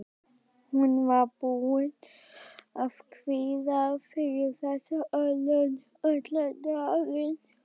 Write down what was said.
Hún var búin að kvíða fyrir þessu allan daginn.